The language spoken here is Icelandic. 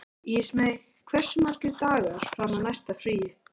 Ísmey, hversu margir dagar fram að næsta fríi?